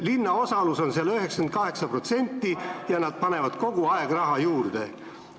Linna osalus on seal 98 protsenti ja nad panevad kogu aeg raha juurde.